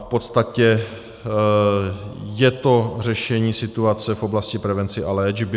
V podstatě je to řešení situace v oblasti prevence a léčby.